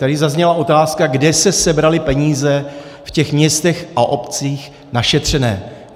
Tady zazněla otázka, kde se sebraly peníze v těch městech a obcích našetřené.